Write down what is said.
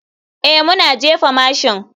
Ee, muna jefa mashin.